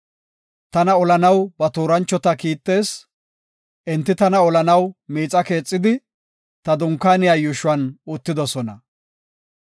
Tana olanaw ba tooranchota kiittees; enti tana olanaw miixa keexidi, ta dunkaaniya yuushuwan uttidosona.